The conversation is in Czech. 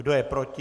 Kdo je proti?